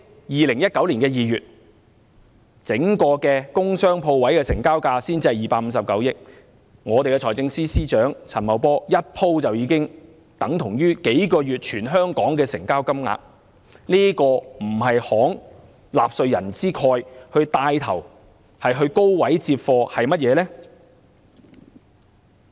2019年首2個月工商鋪位成交總額只有259億元，財政司司長陳茂波一次過投放的金額已相等於全香港數個月的成交總額，這豈不是慷納稅人之慨、牽頭高位接貨？